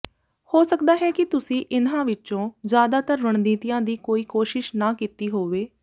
ਹੋ ਸਕਦਾ ਹੈ ਕਿ ਤੁਸੀਂ ਇਹਨਾਂ ਵਿੱਚੋਂ ਜ਼ਿਆਦਾਤਰ ਰਣਨੀਤੀਆਂ ਦੀ ਕੋਈ ਕੋਸ਼ਿਸ਼ ਨਾ ਕੀਤੀ ਹੋਵੇ